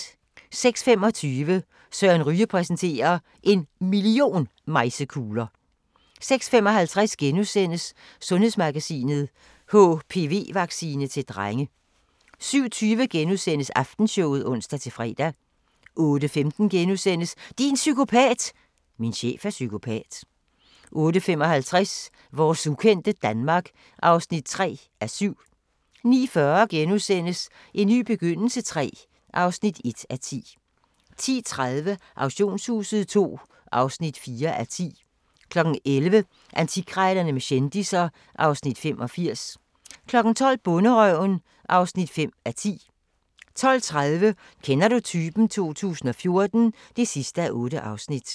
06:25: Søren Ryge præsenterer – En million mejsekugler ... 06:55: Sundhedsmagasinet: HPV-vaccine til drenge * 07:20: Aftenshowet *(ons-fre) 08:15: Din psykopat! – Min chef er psykopat * 08:55: Vores ukendte Danmark (3:7) 09:40: En ny begyndelse III (1:10)* 10:30: Auktionshuset II (4:10) 11:00: Antikkrejlerne med kendisser (Afs. 85) 12:00: Bonderøven (5:10) 12:30: Kender du typen? 2014 (8:8)